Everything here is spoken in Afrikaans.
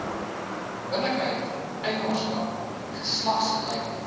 billikheid eienaarskap geslagsgelykheid